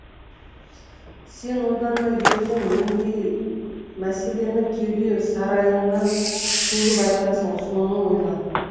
сен одан да ертең нендей мәселені кеуде сарайыңнан төгіп айтасың соны ойла